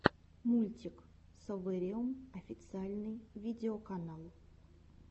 мультик совэриум официальный видеоканал